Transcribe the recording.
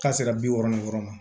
K'a se ka bi wɔɔrɔn yɔrɔ ma